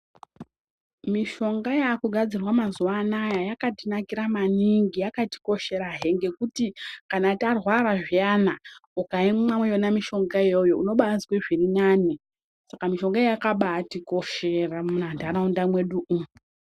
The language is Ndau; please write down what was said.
Mishonga yakugadzirwa mazuwa anaya yakatinakira maningi, yakatikosherahe ngekuti kana tarwara zviyana ukaimwa yona mishonga iyoyo unobazwe zvirinani Saka mishongayo yakabatinoshera munharaunda mwedu umu.